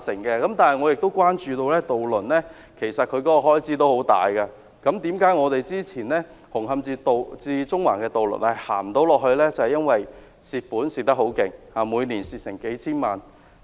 但是，我亦關注到渡輪的開支十分大，之前的紅磡至中環的渡輪不能繼續營運，原因是虧損太多，每年虧損數千萬元。